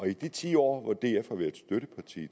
de ti år hvor df har været støtteparti